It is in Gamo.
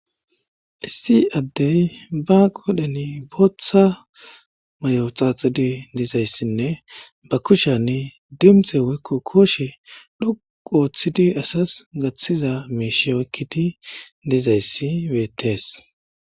issi addey ba qoodhani booththa mayo xaaxidi dizayssinne ba kushanni dimxe woykko kooshe dhoqu ooththidi asas gaththiza mishshe oykkidi dizayssi beettees